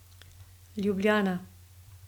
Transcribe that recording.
Ljubljana.